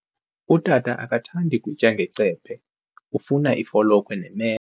Utata akathandi kutya ngecephe, ufuna ifolokhwe nemela.